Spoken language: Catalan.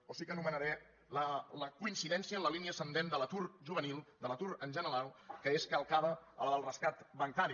o sí que anomenaré la coincidència en la línia ascendent de l’atur juvenil de l’atur en general que és calcada a la del rescat bancari